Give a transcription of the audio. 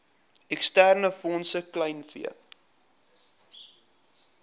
eksterne fondse kleinvee